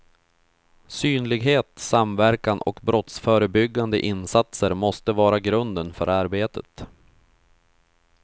Synlighet, samverkan och brottsförebyggande insatser måste vara grunden för arbetet.